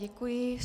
Děkuji.